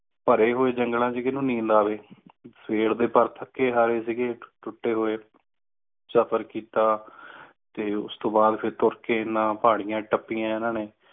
ਭਰੇ ਹੂਏ ਜੰਗਲਾਂ ਚ ਕਿੰਨੂੰ ਨੀਂਦ ਆਵੇ ਸਵੇਰ ਦੇ ਪਰ ਥਕੇ ਹਾਰੇ ਸੀਗੇ ਟੂਟੇ ਹੂਏ ਸਫਰ ਕਿੱਤਾ ਤੇ ਫਿਰ ਤੁੱਰ ਕ ਇਨ੍ਹਾਂ ਪਹਾੜੀਆਂ ਟੱਪਿਆਂ ਇੰਨਾ ਨੇ